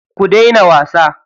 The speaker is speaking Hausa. Ku daina wasa.